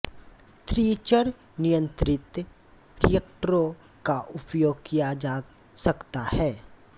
थ्रीचर नियंत्रित रिएक्टरों का उपयोग किया जा सकता है